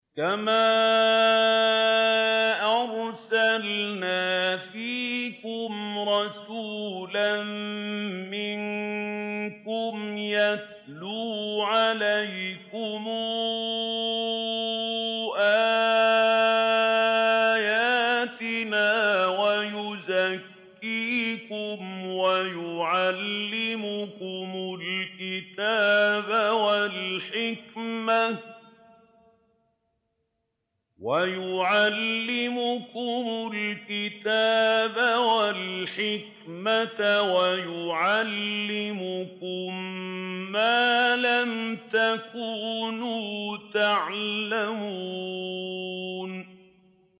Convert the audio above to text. كَمَا أَرْسَلْنَا فِيكُمْ رَسُولًا مِّنكُمْ يَتْلُو عَلَيْكُمْ آيَاتِنَا وَيُزَكِّيكُمْ وَيُعَلِّمُكُمُ الْكِتَابَ وَالْحِكْمَةَ وَيُعَلِّمُكُم مَّا لَمْ تَكُونُوا تَعْلَمُونَ